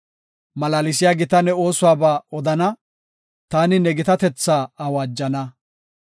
Malaalisiya gita ne oosuwaba odana; taani ne gitatetha awaajana.